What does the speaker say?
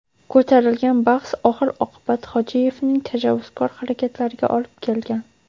Ko‘tarilgan bahs oxir-oqibat Hojiyevning tajovuzkor harakatlariga olib kelgan.